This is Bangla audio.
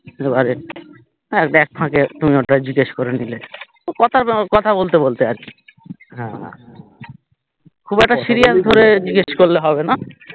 এবারে এক ফাকে তুমি ওটা জিজ্ঞেস করে নিলে কথা বলতে বলতে আরকি খুব একটা serious করে জিজ্ঞেস করলে হবেনা